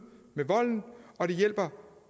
med volden og det hjælper